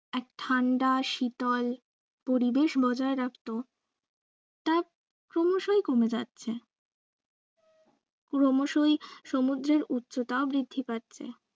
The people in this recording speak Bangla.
ঠান্ডা শীতল পরিবেশ বজায় রাখত তা ক্রমশই কমে যাচ্ছে ক্রমশই সমুদ্রের উচ্চতাও বৃদ্ধি পাচ্ছে।